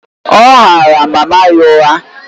Ọ ghaara mama ya ụgha.